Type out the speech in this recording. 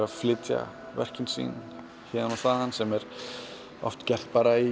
að flytja verkin sín héðan og þaðan sem er oft gert bara í